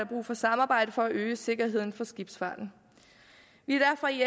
brug for samarbejde for at øge sikkerheden for skibsfarten vi er derfor i